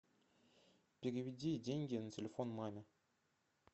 переведи деньги на телефон маме